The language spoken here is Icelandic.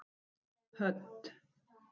Hödd